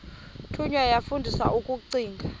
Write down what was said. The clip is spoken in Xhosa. thunywa yafundiswa ukugcina